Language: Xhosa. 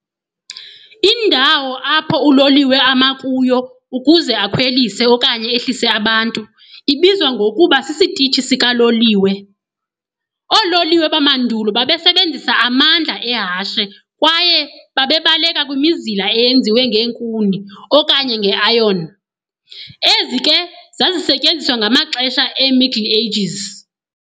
Indawo apho uloliwe ama kuyo ukuze akhwelise okanye ehlise abantu ibizwa ngokuba sisitishi sikaloliwe. Ololiwe bamandulo babesebenzisa amandla ehashe kwaye babebaleka kwimizila eyenziwe ngeenkuni okanye nge-iron. ezi ke zazisetyenziswa ngamaxesha e-Middle Ages.